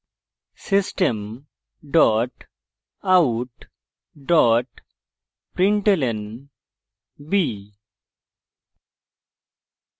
system dot out dot println b;